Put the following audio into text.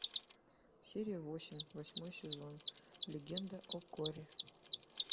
серия восемь восьмой сезон легенда о корре